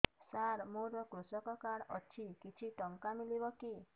ସାର ମୋର୍ କୃଷକ କାର୍ଡ ଅଛି କିଛି ଟଙ୍କା ମିଳିବ କି